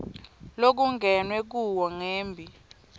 lokungenwe kuwo ngembi